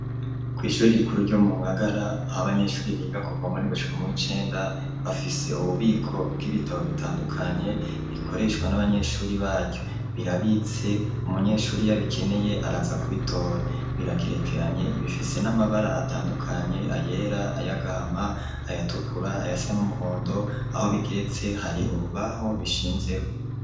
Kw'shuri rikuru ryo mu Ngagara aho abanyeshuri biga kuva muw'indwi gushika muw'icenda bafise ububiko bw'ibitabo bitandukanye bikoreshwa n'abanyeshuri baryo. Birabitse umunyeshuri iyo abikeneye araza kubitora. Biragerekeranye, bifise n'amabara atandukanye, ayera, ay'agahama ayatukura, ayasa n'umuhondo, aho bigeretse hari urubaho bishinzeko.